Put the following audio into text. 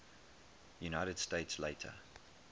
united states later